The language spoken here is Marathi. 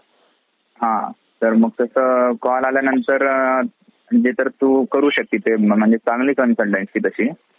मेणा दरवाजा, वाघ दरवाजा. रायगड किल्ल्याचे विशेष म्हणजे हा रायगड किल्ला चारी बाजूनी मोठमोठ्या खडकांनी वेढलेला आहे.